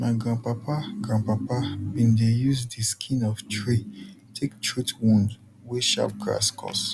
my grandpapa grandpapa bin dey use d skin of tree take treat wound wey sharp grass cause